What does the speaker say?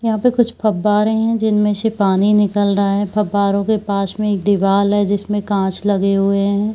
यहाँ पे कुछ फब्वारे है जिनमे से पानी निकल रहा है फब्बारो के पास मे एक दीवाल है जिसमे कांच लगे हुए है।